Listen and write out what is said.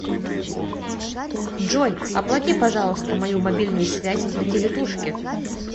джой оплати пожалуйста мою мобильную связь на телетушке